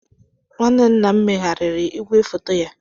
Nwanne nna m megharịrị igwefoto ya.